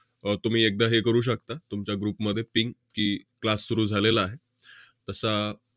अह तुम्ही एकदा हे करू शकता, तुमच्या group मध्ये ping की, class सुरु झालेला आहे. तसा